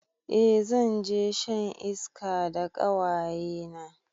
Eh zanje shan iska da ƙawayena